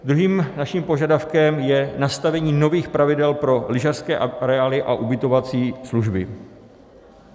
Druhým naším požadavkem je nastavení nových pravidel pro lyžařské areály a ubytovací služby.